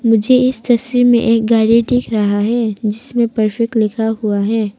मुझे इस तस्वीर में एक गाड़ी दिख रहा है जिसमें परफेक्ट लिखा हुआ है।